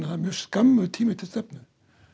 það er mjög skammur tími til stefnu